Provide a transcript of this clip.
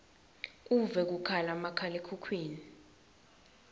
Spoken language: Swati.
uve kukhala makhalekhukhwini